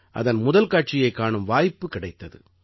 அதன் முதல்காட்சியைக் காணும் வாய்ப்பு கிடைத்தது